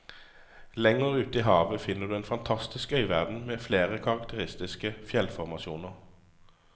Lenger ut i havet finner du en fantastisk øyverden med flere karakteristiske fjellformasjoner.